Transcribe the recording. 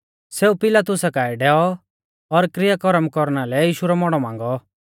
सेऊ पिलातुसा काऐ डैऔ और किरया करम कौरना लै यीशु रौ मौड़ौ मांगौ